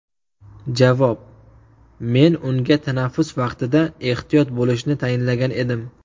Javob: Men unga tanaffus vaqtida ehtiyot bo‘lishni tayinlagan edim.